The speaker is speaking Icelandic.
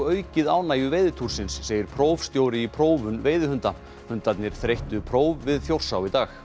aukið ánægju segir prófstjóri í prófun veiðihunda hundarnir þreyttu próf við Þjórsá í dag